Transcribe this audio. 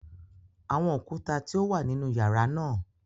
Awọn okuta ti o wa ninu yara naa